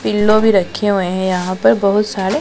pillow भी रखे हुए हैं यहां पर बहोत सारे--